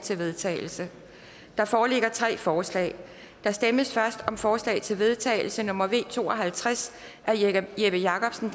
til vedtagelse der foreligger tre forslag der stemmes først om forslag til vedtagelse nummer v to og halvtreds af jeppe jeppe jakobsen